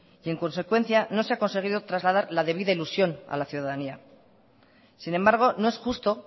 y en consecuencia no se ha conseguido trasladar la debida ilusión a la ciudadanía sin embargo no es justo